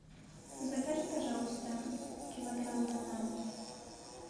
закажи пожалуйста килограмм бананов